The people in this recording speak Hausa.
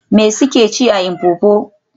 Me suke ci a Mpopo?